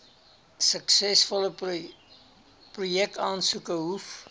suksesvolle projekaansoeke hoef